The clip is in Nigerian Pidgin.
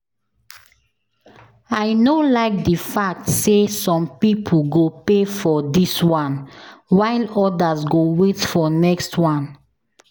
I no like the fact say some people go pay for dis one while others go wait for next wan